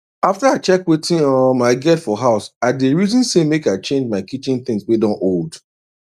after i check wetin um i get for house i dey reason say make i change my kitchen things wey don old